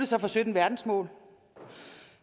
sig for sytten verdensmål